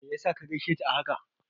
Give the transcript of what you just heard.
Me yasa ka gaishe ta a haka?